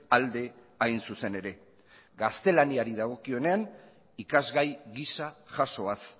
alde hain zuzen ere gaztelaniari dagokionean ikasgai gisa jasoaz